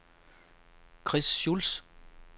Chris Schulz